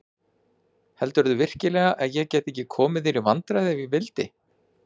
Heldurðu virkilega að ég gæti ekki komið þér í vandræði ef ég vildi?